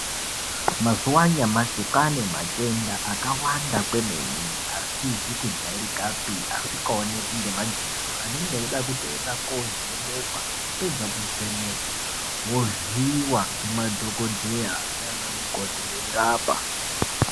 Mazuva anyamashi kwaane matenda akawanda kwemene asizi kujairikapi asikaoneki ngemadziso anenge eida kutoenda kovhenekwa, wapedza kuvhenekwa wovhiiyiwa ngemadhokodheya naanamukoti veirapa.